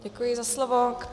Děkuji za slovo.